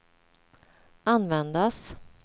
användas